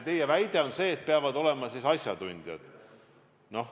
Teie väide on, et peavad olema asjatundjad.